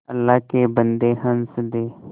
अल्लाह के बन्दे हंस दे